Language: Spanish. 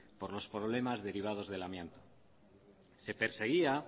por los problemas derivados del amianto se perseguía